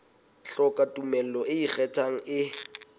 hloka tumello e ikgethang e